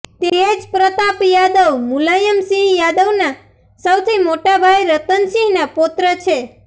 તેજપ્રતાપ યાદવ મુલાયમસિંહ યાદવના સૌથી મોટાભાઈ રતનસિંહના પૌત્ર છે